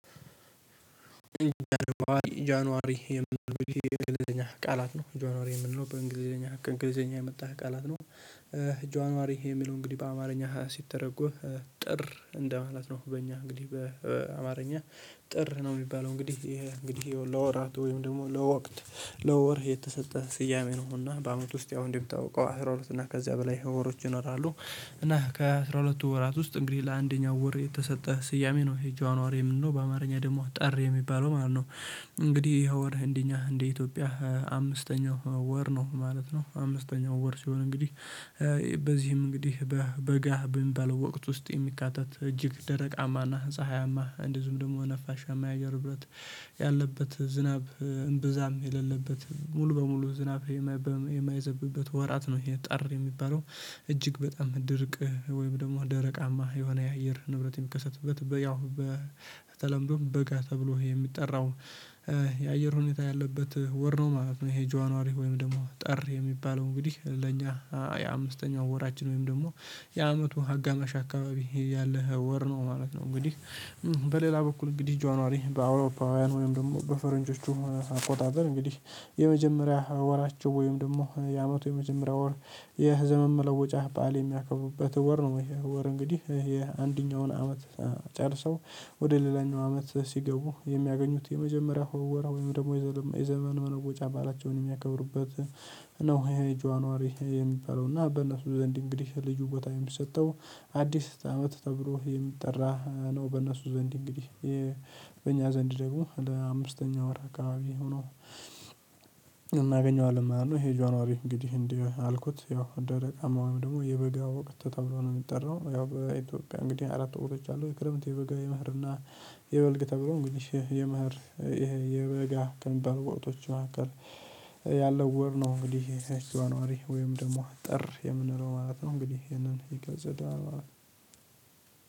ጃንዋሪ የምንለው የእንግሊዝኛ ቃላት ነው ጃነዋሪ የምንለው በእንግሊዘኛ ከእንግሊዘኛ የመጣ ቃላት ነው። ጃንዋሪ የሚለው እንግዲህ በአማርኛ ሲተረጎም። ጥር እንደማለት ነው በእኛ እንግዲህ በአማርኛ ጥር ነው። የሚባለው እንግዲህ እንግዲህ ይኸው ለወራት ወይም ደግሞ ለወቅት ለወርህ የተሰጠህ ስያሜ ነውና በአመቱ ውስጥ ያው እንዲህ ተውቀው አስራ ሁለት እና ከዚያ በላይ ህይወሮች ይኖራሉ። እና ከአሥራ ሁለት ወራት ውስጥ እንግዲህ ለአንደኛው ወር የተሰጠ ስያሜ ነው ጃነዋሪ የምንለው በአማርኛ ደሞ ጠር የሚባለው ማለት ነው። እንግዲህ የኸ ወር እንደኛ እንደ ኢትዮጵያ አምስተኛው ወር ነው ማለት ነው። አምስተኛው ወር ሲሆን እንግዲህ በዚህም እንግዲህ በበጋ በሚባለው ወቅት ውስጥ የሚካተት እጅግ ደረቃማና ፀሀያማ እንደዝሁም ደግሞ ነፋሻማ የአየር ንብረት። ያለበት ዝናብ እምብዛም የሌለበት ሙሉ በሙሉ ዝናብ የማይዘብበት ወራት ነው። ይሄ ጠር የሚባለው እጅግ በጣም ድርቅ ወይም ደግሞ ደረቃማ የሆነ የአየር ንብረት የሚከሰትበት ያው በተለምዶ በጋ ተብሎ የሚጠራው። የአየር ሁኔታ ያለበት ወር ነው ማለት ነው። ይሄ ጃንወሪ ወይም ደግሞ ጠር የሚባለው እንግዲህ ለኛ የአምስተኛው ወራችን ወይም ደግሞ የአመቱ ሀጋማሽ አካባቢ ያለ ወር ነው ማለት ነው። እንግዲህ በሌላ በኩል እንግዲህ ጆንዋሪ በአውሮፓውያን ወይም ደግሞ በፈረንጆቹ አቆጣጠር እንግዲህ የመጀመሪያ ወራቸው ወይም ደግሞ የአመቱ የመጀመሪያ ወር የዘመንመለወጫ በዓል የሚያከቡበት ወር ነው። ወይ ወር እንግዲህ ይሄ አንደኛውን አመት ጨርሰው ወደ ሌላኛው አመት ሲገቡ የሚያገኙት የመጀመሪያ ሆወራ ወይም ደግሞ የዘመን መለወጫ በዓላቸውን የሚያከብሩበት ነው። ይሄ ጇዋሪ የሚበለውና በእነሱ ዘንድ እንግዲህ ልዩ ቦታ የሚሰጠው አዲስ አመት ተብሎ የሚጠራ ነው። በእነሱ ዘንድ እንግዲህ በእኛ ዘንድ ደግሞ አምስተኛ ወር አካባቢ ሆኖ እናገኘዋለን ማለት ነው። ይሄ ጃነዋሪ እንግዲህ እንዲህ አልኩት ያው ደረቃማ ወይም ደግሞ የበጋ ወቅት ተብሎ ነው የሚጠራው ያው በኢትዮጵያ እንግዲህ አራት ወቅቶች አሉ የክረምት የበጋ የምህርና። የበልግ ተብሎ እንግዲህ የምህር ይሄ የበጋ ከሚቢሉ ወቅቶች መሀከል ያለው ወር ነው። እንግዲህ የህ ጃንዋሪ ወይም ደግሞ ጥር የምንለው ማለት ነው እንግዲህ ይሄንን ይገልጽልናል ማለት ነው።